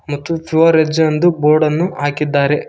ಮತ್ತು pure veg ಎಂದು board ಅನ್ನು ಹಾಕಿದ್ದಾರೆ.